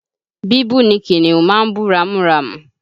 Bíbú ni kìnnìún máa ń bú ramúramù